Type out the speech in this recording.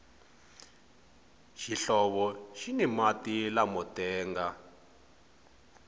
xihlovo xini mati lamo tenga